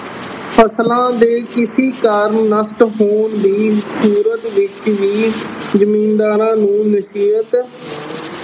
ਫਸਲਾਂ ਦੇ ਕਿਸੀ ਕਾਰਨ ਨਸ਼ਟ ਹੋਣ ਦੀ ਸੂਰਤ ਵਿੱਚ ਵੀ ਜ਼ਿਮੀਦਾਰਾਂ ਨੂੰ ਨਸੀਅਤ